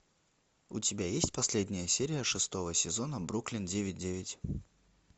у тебя есть последняя серия шестого сезона бруклин девять девять